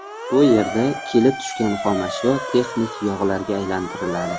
Bu yerda kelib tushgan xomashyo texnik yog‘larga aylantiriladi.